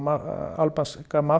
albanska